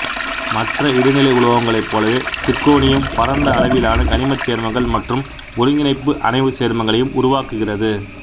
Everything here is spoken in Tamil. மற்ற இடைநிலை உலோகங்களைப் போலவே சிர்க்கோனியம் பரந்த அளவிலான கனிமச் சேர்மங்கள் மற்றும் ஒருங்கிணைப்பு அணைவுச் சேர்மங்களையும் உருவாக்குகிறது